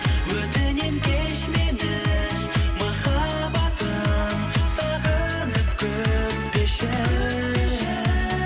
өтінемін кеш мені махаббатым сағынып күтпеші